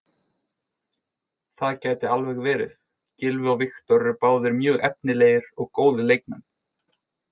Það gæti alveg verið, Gylfi og Viktor eru báðir mjög efnilegir og góðir leikmenn.